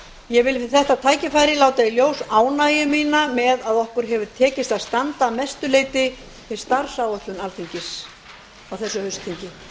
ég vil við þetta tækifæri láta í ljós ánægju mína með að okkur hefur tekist að standa að mestu leyti við starfsáætlun alþingis á þessu haustþingi